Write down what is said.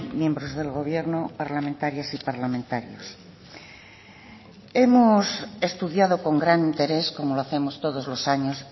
miembros del gobierno parlamentarias y parlamentarios hemos estudiado con gran interés como lo hacemos todos los años